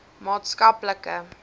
maatskaplike